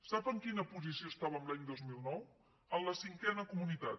sap en quina posició estàvem l’any dos mil nou en la cinquena comunitat